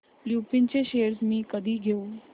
लुपिन चे शेअर्स मी कधी घेऊ